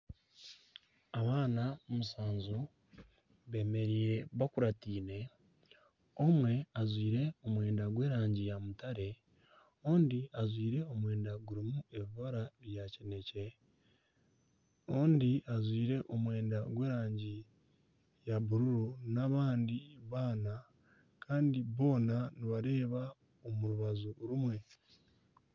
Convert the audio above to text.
Abaana mushanju beemereire bakurataine, omwe ajwaire omwenda gw'erangi ya mutare, ondi ajwire omwenda gw'erangi ya kineekye, omwe ajwire omwenda gw'erangi ya bururu n'abandi baana kandi boona nibareeba omu rubaju rumwe